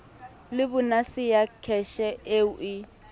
le bonase ya kheshe eo